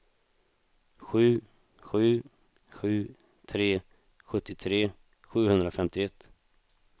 sju sju sju tre sjuttiotre sjuhundrafemtioett